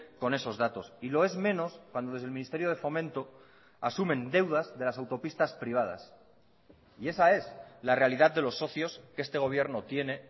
con esos datos y lo es menos cuando desde el ministerio de fomento asumen deudas de las autopistas privadas y esa es la realidad de los socios que este gobierno tiene